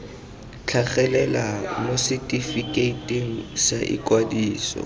tlhagelela mo setefikeiting sa ikwadiso